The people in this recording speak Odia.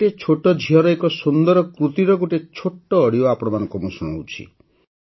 ଗୋଟିଏ ଛୋଟ ଝିଅର ଏକ ସୁନ୍ଦର କୃତିର ଗୋଟିଏ ଛୋଟ ଅଡିଓ ଆପଣମାନଙ୍କୁ ଶୁଣାଉଛି